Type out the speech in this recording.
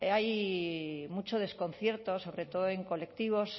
hay mucho desconcierto sobre todo en colectivos